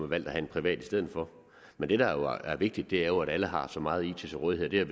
valgt at have en privat i stedet for men det der jo er vigtigt er at alle har så meget it til rådighed